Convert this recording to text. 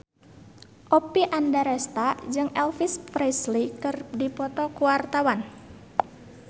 Oppie Andaresta jeung Elvis Presley keur dipoto ku wartawan